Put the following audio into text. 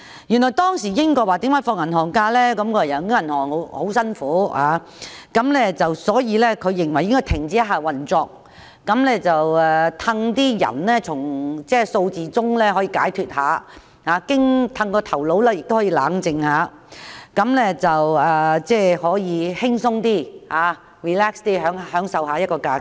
原來銀行的工作十分辛苦，所以當局認為應該有數天停止運作，讓僱員從數字中得到解脫，頭腦亦可以冷靜一下，可以輕鬆的享受假期。